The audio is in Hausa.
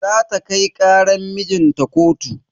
Zata kai karan mijinta kotu.